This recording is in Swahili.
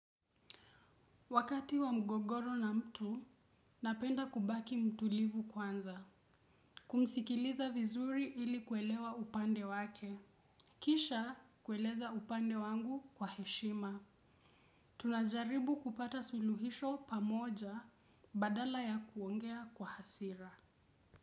Wakati wa mgogoro na mtu, napenda kubaki mtulivu kwanza. Kumsikiliza vizuri ili kuelewa upande wake. Kisha kueleza upande wangu kwa heshima. Tunajaribu kupata suluhisho pamoja badala ya kuongea kwa hasira.